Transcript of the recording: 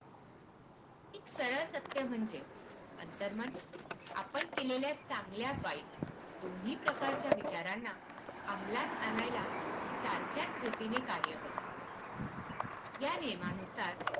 एक सरळ सत्य म्हणजे अंतर्मन आपण केलेल्या चांगल्या वाईट दोन्ही प्रकारच्या विचारांना अमलात आणायला सारख्याच रीतीने कार्य करते या नियमानुसार